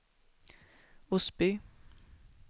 Osby